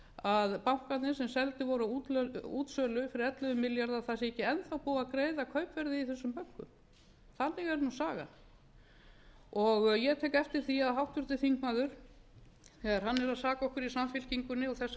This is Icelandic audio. að bankarnir sem seldir voru á útsölu fyrir ellefu milljarða að það sé ekki enn þá búið að greiða kaupverðið í þessum bönkum þannig er nú sagan ég tek eftir því að háttvirtur þingmaður þegar hann er að saka okkur í samfylkingunni og þessa